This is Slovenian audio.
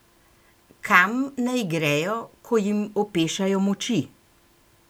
Kam naj grejo, ko jim opešajo moči?